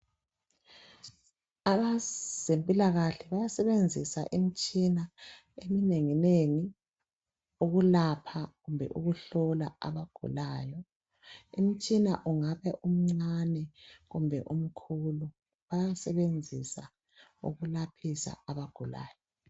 Abezempilakahle bayasebenzisa imitshina eminenginengi ukulapha kumbe ukuhlola abagulayo. Umtshina ungaba umncane kumbe umkhulu bayasebenzisa ukulaphisa abagulayo.